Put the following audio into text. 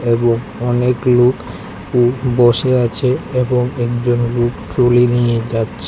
এবং অনেক লোক বসে আছে এবং একজন লোক ট্রলি নিয়ে যাচ্ছে।